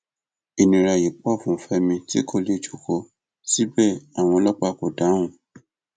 ìnira yìí pọ fún fẹmi tí kò lè jókòó síbẹ àwọn ọlọpàá kò dáhùn